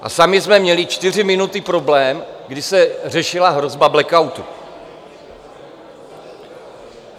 A sami jsme měli 4 minuty problém, kdy se řešila hrozba blackoutu.